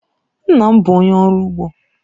Nna m bụ onye ọrụ ugbo.